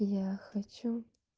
я хочу